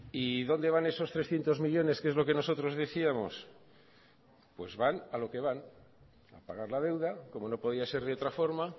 y dónde van esos trescientos millónes que es lo que nosotros decíamos pues van a lo que van a pagar la deuda como no podía ser de otra forma